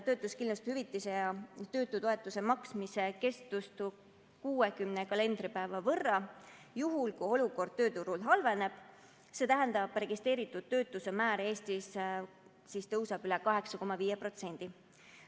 Töötuskindlustushüvitise ja töötutoetuse maksmise kestust on vaja pikendada 60 kalendripäeva võrra juhul, kui olukord tööturul halveneb, st registreeritud töötuse määr Eestis tõuseb üle 8,5%.